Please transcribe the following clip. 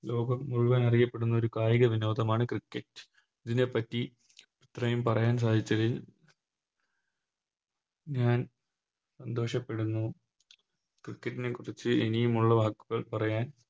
ലോകം മുഴുവൻ അറിയപ്പെടുന്ന ഒരു കായിക വിനോദമാണു Cricket ഇതിനെപറ്റി ഇത്രയും പറയാൻ സാധിച്ചതിന് ഞാൻ സന്തോഷപ്പെടുന്നു Cricket നെക്കുറിച്ച് ഇനിയും ഉള്ള വാക്കുകൾ പറയാൻ